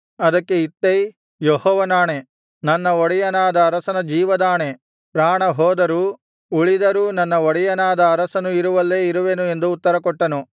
ಅದಕ್ಕೆ ಇತ್ತೈ ಯೆಹೋವನಾಣೆ ನನ್ನ ಒಡೆಯನಾದ ಅರಸನ ಜೀವದಾಣೆ ಪ್ರಾಣ ಹೋದರೂ ಉಳಿದರೂ ನನ್ನ ಒಡೆಯನಾದ ಅರಸನು ಇರುವಲ್ಲೇ ಇರುವೆನು ಎಂದು ಉತ್ತರಕೊಟ್ಟನು